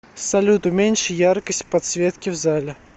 салют уменьши яркость подсветки в зале